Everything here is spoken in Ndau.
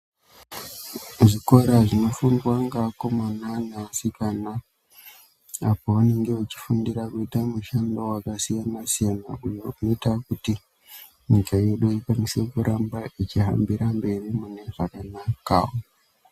Zvikora zvinofundwa nevakomana nevasikana apo vanenge vachifundira kuite mishando wakasiyana siyana iyo inoite kuti nyika yedu inge inokwanisa kurambe ichihambira mberi mune zvakanaka.